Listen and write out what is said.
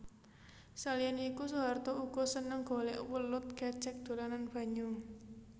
Saliyané iku Soeharto uga seneng golèk welut kecèk dolanan banyu